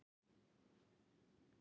Hödd Vilhjálmsdóttir: Bara öll saman?